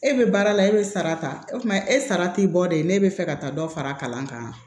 E bɛ baara la e bɛ sara ta o kuma e sara t'i bɔ de ne bɛ fɛ ka taa dɔ fara kalan kan